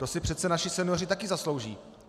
To si přece naši senioři taky zaslouží.